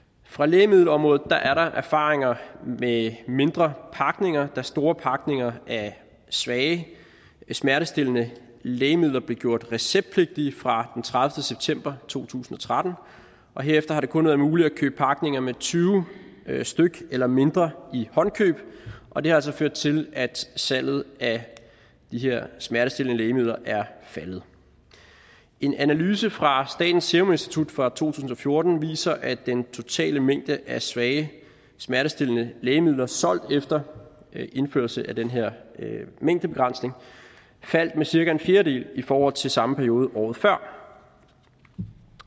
fra lægemiddelområdet er der erfaringer med mindre pakninger da store pakninger af svage smertestillende lægemidler blev gjort receptpligtige fra den tredivete september to tusind og tretten og herefter har det kun være muligt at købe pakninger med tyve styk eller mindre i håndkøb og det har altså ført til at salget af de her smertestillende lægemidler er faldet en analyse fra statens serum institut fra to tusind og fjorten viser at den totale mængde af svage smertestillende lægemidler solgt efter indførelsen af den her mængdebegrænsning faldt med cirka en fjerdedel i forhold til samme periode året før